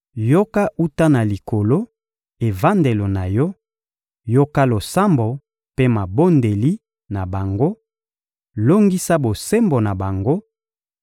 yoka wuta na Likolo, evandelo na Yo; yoka losambo mpe mabondeli na bango, longisa bosembo na bango,